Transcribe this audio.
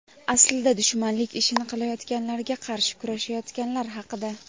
aslida dushmanlik ishini qilayotganlarga qarshi kurashayotganlar haqida.